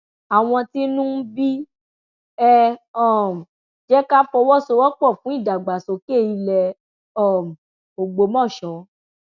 àwọn tínú ń bí ẹ um jẹ ká fọwọsowọpọ fún ìdàgbàsókè ilẹ um ògbómọṣọ